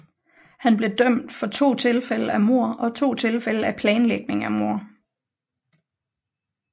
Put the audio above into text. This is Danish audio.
Han blev dømt for to tilfælde af mord og to tilfælde af planlægning af mord